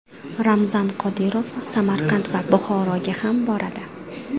Ramzan Qodirov Samarqand va Buxoroga ham boradi.